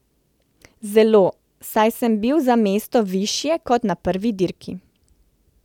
Zelo, saj sem bil za mesto višje kot na prvi dirki.